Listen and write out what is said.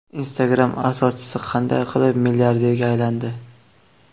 Instagram asoschisi qanday qilib milliarderga aylandi?.